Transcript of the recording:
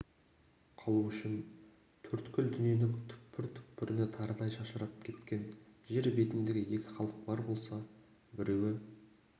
қалу үшін төрткүл дүниенің түкпір-түкпіріне тарыдай шашырап кеткен жер бетіндегі екі халық бар болса біреуі